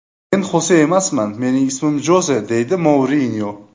Men Xose emasman, mening ismim Joze”, deydi Mourinyo.